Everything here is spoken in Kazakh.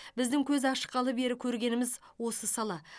біздің көз ашқалы бері көргеніміз осы сала